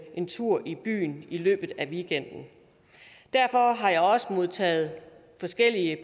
en tur i byen i løbet af weekenden derfor har jeg også modtaget forskellige